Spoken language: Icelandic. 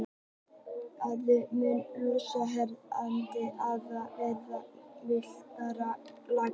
Á landnámsöld mun loftslag hér á landi hafa verið í mildara lagi.